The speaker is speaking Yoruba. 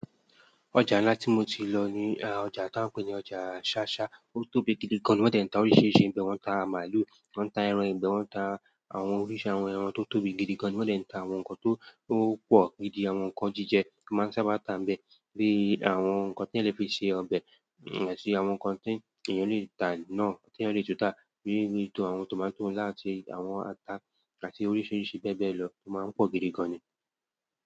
Ọjà ńlá tí mo ti lọ ní, ọjà ta ń pè ní ọjà ṣáṣá. Ó tóbi gidi gan ni, wọ́n de ń ta oríṣìíríṣìí n bẹ, wọn n ta màálù, wọn n ta ẹran ìgbẹ́, wọn ń ta àwọn oríṣi àwọn ẹran tó tóbi gidi gan ni, wọ́n de ń ta àwọn nǹkan tó to pọ̀ gidi, àwọn nǹkan jíjẹ máa n sábà tà n bẹ, bíi àwọn nǹkan teyan lẹ́ fi ṣe ọbẹ̀, àti àwọn nǹkan tí èèyàn lè ta náa, tí ẹyàn lè tútà, bíi tí àwọn tòmátò láti àwọn ata àti oríṣìíríṣìí bẹ́ẹ̀ bẹ́ẹ̀ lọ, ó ma ń pọ̀ gidi gan ni.